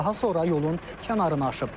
Daha sonra yolun kənarına aşıb.